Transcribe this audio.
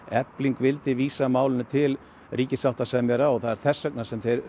efling vildi vísa málinu til ríkissáttasemjara þessvegna